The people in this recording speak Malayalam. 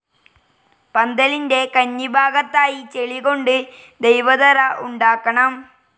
പന്തലിന്റെ കന്നിഭാഗത്തായി ചെളി കൊണ്ട് ദൈവത്തറ ഉണ്ടാക്കണം.